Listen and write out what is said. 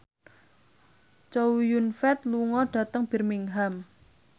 Chow Yun Fat lunga dhateng Birmingham